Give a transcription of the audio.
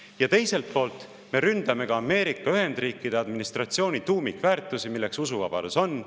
Ja teiselt poolt me ründame ka Ameerika Ühendriikide administratsiooni tuumikväärtusi, milleks ka usuvabadus on.